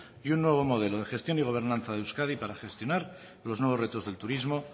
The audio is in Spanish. y un nuevo modelo de gestión y gobernanza en euskadi para gestionar los nuevos retos del turismo